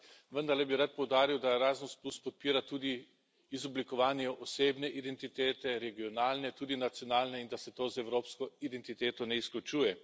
Ampak, vendarle bi rad poudaril, da Erasmus podpira tudi izoblikovanje osebne identitete, regionalne, tudi nacionalne in da se to z evropsko identiteto ne izključuje.